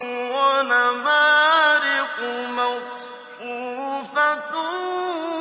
وَنَمَارِقُ مَصْفُوفَةٌ